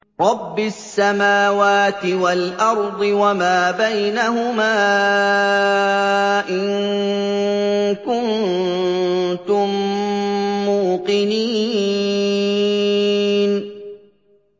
رَبِّ السَّمَاوَاتِ وَالْأَرْضِ وَمَا بَيْنَهُمَا ۖ إِن كُنتُم مُّوقِنِينَ